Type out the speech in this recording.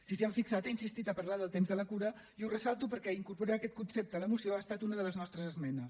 si s’hi han fixat he insistit a parlar del temps de la cura i ho ressalto perquè incorporar aquest concepte a la moció ha estat una de les nostres esmenes